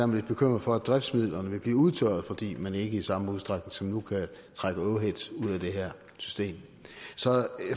man lidt bekymret for at driftsmidlerne vil blive udtørret fordi man ikke i samme udstrækning som nu kan trække overhead ud af det her system så